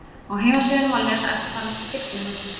Á heimasíðunni má lesa eftirfarandi tilkynningu